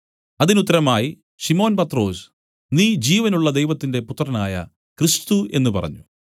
അതിനുത്തരമായി ശിമോൻ പത്രൊസ് നീ ജീവനുള്ള ദൈവത്തിന്റെ പുത്രനായ ക്രിസ്തു എന്നു പറഞ്ഞു